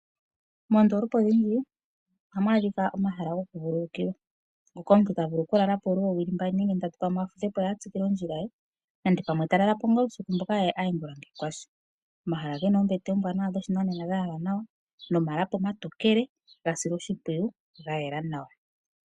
Moondolopa odhindji ohamu adhika omahala goku vululukilwa, moka omuntu tavulu oku lalapo oowili mbali nenge ndatu, afudhepo opo avule okutsikila ondjila ye, nenge tatalalapo ngaa uusiku mboka, ye aye ongula shi kwashi. Omahala ogena oombete dhoshinanena dha yalwa nawa, nomalapi omatokele ga silwa oshimpwiyu, gayela nawa.